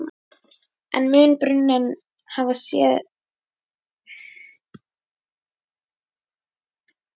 En mun bruninn hafa einhver áhrif á starfsemi Sets?